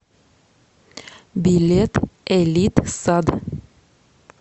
билет элитсад